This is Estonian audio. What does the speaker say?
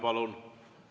Palun!